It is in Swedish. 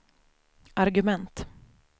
argument